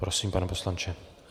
Prosím, pane poslanče.